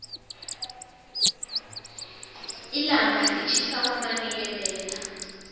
llanga litjhisa kwamanikelela